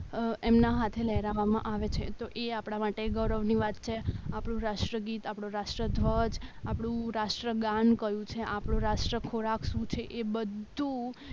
અ એમના હાથે લહેરાવવામાં આવે છે તો એ આપણા માટે ગૌરવની વાત છે આપણું રાષ્ટ્રગીત આપણું રાષ્ટ્રધ્વજ આપણું રાષ્ટ્ર ગાન આપણું રાષ્ટ્ર ખોરાક શું છે એ બધું